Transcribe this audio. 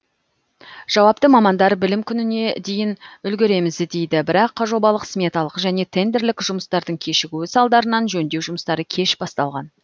жауапты мамандар білім күніне дейін үлгереміз дейді бірақ жобалық сметалық және тендерлік жұмыстардың кешігуі салдарынан жөндеу жұмыстары кеш басталған